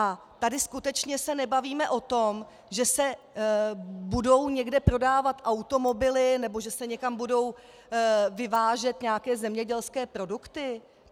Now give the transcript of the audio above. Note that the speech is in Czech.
A tady skutečně se nebavíme o tom, že se budou někde prodávat automobily nebo že se někam budou vyvážet nějaké zemědělské produkty!